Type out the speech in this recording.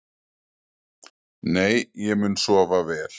Nei ég mun sofa vel.